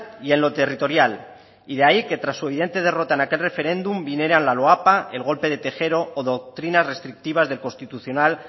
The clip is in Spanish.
y en lo territorial y de ahí que tras su evidente derrota en aquel referéndum viniera la loapa el golpe de tejero o doctrinas restrictivas del constitucional